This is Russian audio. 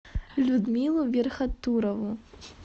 людмилу верхотурову